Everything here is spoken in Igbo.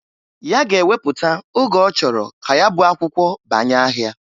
Ya ga-ewepụta oge ọchọrọ ka ya bụ akwụkwọ banye ahịa.